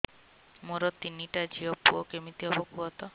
ମୋର ତିନିଟା ଝିଅ ପୁଅ କେମିତି ହବ କୁହତ